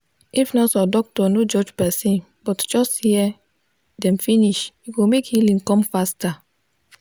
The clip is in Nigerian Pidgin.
if nurse or doctor no judge person but just hear dem finish e go make healing come faster.